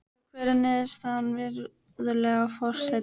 Og hver er niðurstaðan, virðulegi forseti?